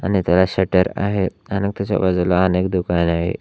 आणि त्याला शटर आहे आणि त्याच्या बाजूला अनेक दुकान आहे.